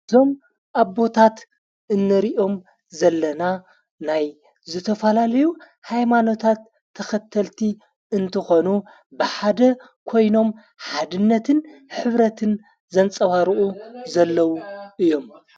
እዞም ኣቦታት እንሪእኦም ዘለና ናይ ዘተፋላለዩ ኃይማኖታት ተኸተልቲ እንትኾኑ ብሓደ ኮይኖም ሓድነትን ኅብረትን ዘንጸባርኡ ዘለዉ እዮም።